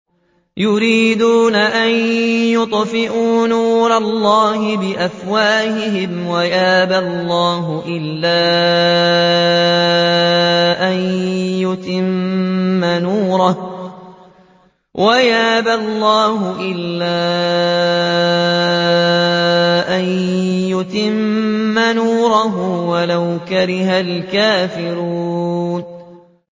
يُرِيدُونَ أَن يُطْفِئُوا نُورَ اللَّهِ بِأَفْوَاهِهِمْ وَيَأْبَى اللَّهُ إِلَّا أَن يُتِمَّ نُورَهُ وَلَوْ كَرِهَ الْكَافِرُونَ